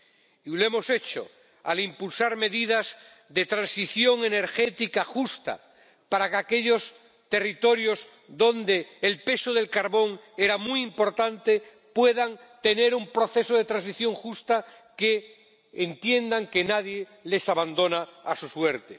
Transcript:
Y lo hemos hecho al impulsar medidas de transición energética justa para que aquellos territorios en los que el peso del carbón era muy importante puedan tener un proceso de transición justa, que entiendan que nadie les abandona a su suerte.